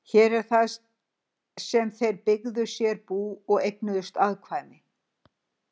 Hér er það sem þeir byggja sér bú og eignast afkvæmi.